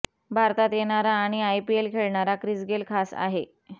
भारतात येणारा आणि आयपीएल खेळणारा क्रिस गेल खास आहे